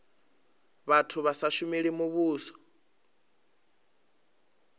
vhathu vha sa shumeli muvhuso